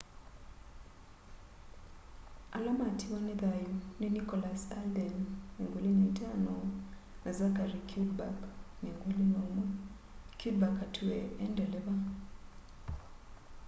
ala matiwa ni thayu ni nicholas alden 25 na zachary cuddeback 21 cuddeback atwie e ndeleva